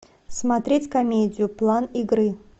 смотреть комедию план игры